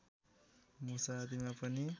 मुसा आदिमा पनि